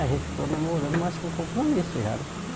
A gente ficou namorando, mas com compromisso já, né?